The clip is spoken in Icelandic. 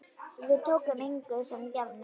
Við tókum engu sem gefnu.